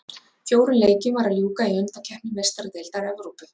Fjórum leikjum var að ljúka í undankeppni Meistaradeildar Evrópu